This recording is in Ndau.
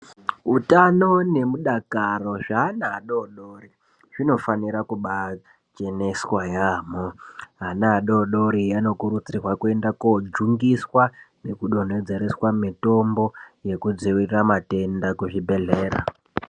Utano nemudakaro zvana adodori zvinofanira kubacheneswa yaamho. Ana adodori anokurudzirwa kwenda kojungiswa nekudonhedzereswa mitombo yekudzivirira matenda kuzvibhedhlera.